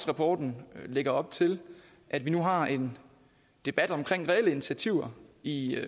rapporten lægger op til at vi nu har en debat om reelle initiativer i